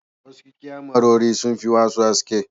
Wasu kyamarori sun fi wasu haske.